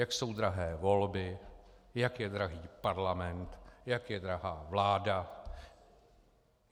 Jak jsou drahé volby, jak je drahý parlament, jak je drahá vláda.